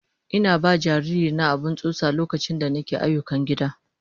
Ina ba jariri na abin tsotsa lokaci da nake ayyukan gida.